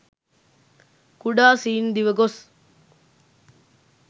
කුඩා සීන් දිව ගොස්